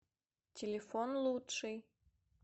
телефон лучший